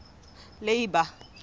leeba